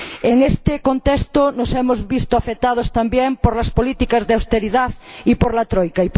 En este contexto, nos hemos visto afectados también por las políticas de austeridad y por la Troika.